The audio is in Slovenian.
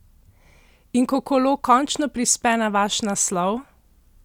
In ko kolo končno prispe na vaš naslov?